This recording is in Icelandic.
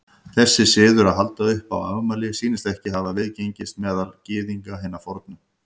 Þessi siður að halda upp á afmæli sýnist ekki hafa viðgengist meðal Gyðinga hinna fornu.